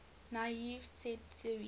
naive set theory